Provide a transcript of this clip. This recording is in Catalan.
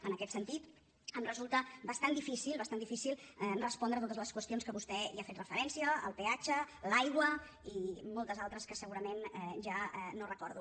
en aquest sentit em resulta bastant difícil bastant difícil respondre a totes les qüestions que vostè hi ha fet referència el peatge l’aigua i moltes altres que segurament ja no recordo